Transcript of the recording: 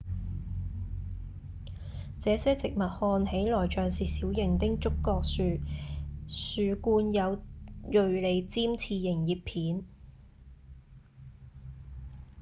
這些植物看起來像是小型的棕櫚樹樹冠有銳利尖刺形葉片